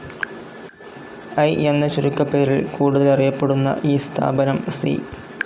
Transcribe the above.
I എന്ന ചുരുക്കപ്പേരിൽ കൂടുതലറിയപ്പെടുന്ന ഈ സ്ഥാപനം സി.